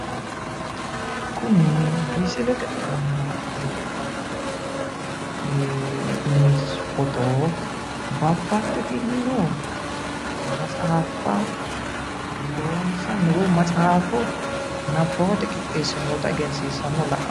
Kuni misilete aana la'neemmohu foto babbaxxitinno matsaaffa loonsanni woyi matsaafo nabbawate qixxeessinoyita egesiissanna labbawo.